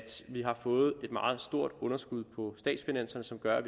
vi har fået et meget stort underskud på statsfinanserne som gør at